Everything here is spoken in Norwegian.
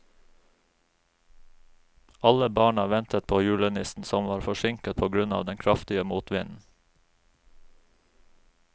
Alle barna ventet på julenissen, som var forsinket på grunn av den kraftige motvinden.